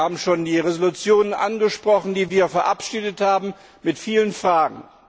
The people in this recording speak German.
Sie haben schon die Entschließungen angesprochen, die wir verabschiedet haben, mit vielen Fragen.